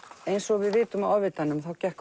eins og við vitum af Ofvitanum þá gekk